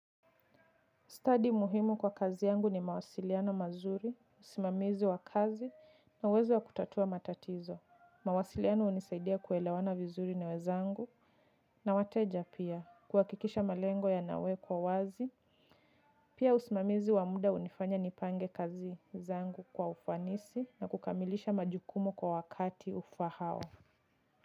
Stadi muhimu kwa kazi yangu ni mawasiliano mazuri, usimamizi wa kazi na uwezo wa kutatua matatizo. Mawasiliano hunisaidia kuelewana vizuri na wenzangu na wateja pia kuhakikisha malengo ya nawe kwa wazi. Pia usimamizi wa muda hunifanya nipange kazi zangu kwa ufanisi na kukamilisha majukumu kwa wakati ufaao.